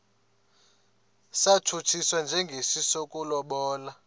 satshutshiswa njengesi sokulobola